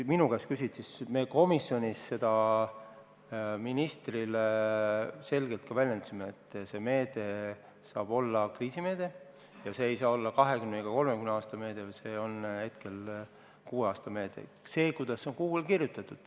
Me ütlesime komisjonis ministrile selgelt, et see meede saab olla kriisimeede – see ei saa olla 20 ega 30 aasta meede, vaid see on kuue aasta meede.